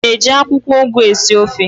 Ị na-eji akwụkwọụgụ esi ofe?